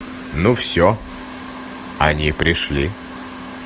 ну всё они пришли